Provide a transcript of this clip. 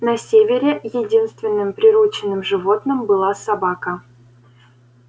на севере единственным приручённым животным была собака